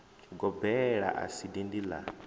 gobela a si dindi la